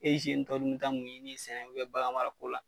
E tɔ dun mi taa mun ɲini bu la